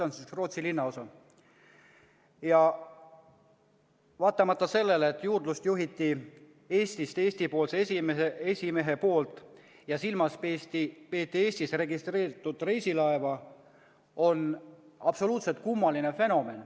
Kuna juurdlust juhiti Eestist, esimees oli Eestist ja tegemist oli Eestis registreeritud reisilaevaga, on see absoluutselt kummaline fenomen.